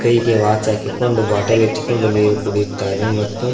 ಕೈಗೆ ವಾಚ್ ಹಾಕಿಕೊಂಡು ಬಾಟಲ್ ಎತ್ತಿಕೊಂಡು ನೀರು ಕುಡುಯುತ್ತಾನೆ ಮತ್ತು--